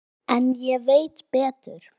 En ég veit betur.